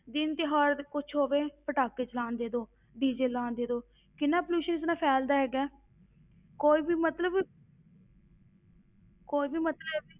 ਦਿਨ ਤਿਉਹਾਰ ਤੇ ਕੁਛ ਹੋਵੇ, ਪਟਾਖੇ ਚਲਾਉਣ ਦੇ ਦਓ DJ ਲਾਉਣ ਦੇ ਦਓ, ਕਿੰਨਾ pollution ਇਸ ਨਾਲ ਫੈਲਦਾ ਹੈਗਾ ਹੈ, ਕੋਈ ਵੀ ਮਤਲਬ ਕੋਈ ਵੀ ਮਤਲਬ